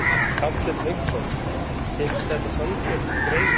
Hafsteinn Hauksson: Finnst þér þetta sanngjörn greining?